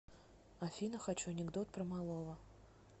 афина хочу анекдот про малого